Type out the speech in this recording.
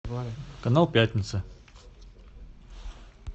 канал пятница